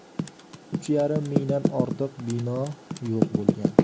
Uch yarim mingdan ortiq bino yo‘q bo‘lgan.